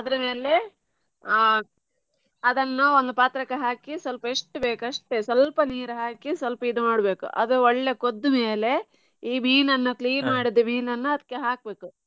ಅದ್ರ ಮೇಲೆ ಆ ಅದನ್ನ ಒಂದು ಪಾತ್ರಕ್ಕೆ ಹಾಕಿ ಸ್ವಲ್ಪ ಎಷ್ಟ್ ಬೇಕು ಅಷ್ಟೇ ಸ್ವಲ್ಪ ನೀರು ಹಾಕಿ ಸ್ವಲ್ಪ ಇದು ಮಾಡ್ಬೇಕು ಅದು ಒಳ್ಳೆ ಕೊದ್ದ ಮೇಲೆ ಈ ಮೀನನ್ನ ಮಾಡಿದ ಮೀನನ್ನು ಅದ್ಕೆ ಹಾಕ್ಬೇಕು.